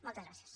moltes gràcies